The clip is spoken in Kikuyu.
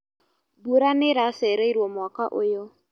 Mbura nĩiracereirwo mwaka ũyũ.